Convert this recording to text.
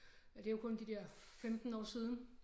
Ja det jo kun de der 15 år siden